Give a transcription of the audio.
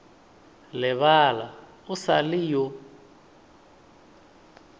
lebala o sa le yo